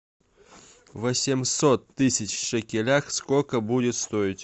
восемьсот тысяч в шекелях сколько будет стоить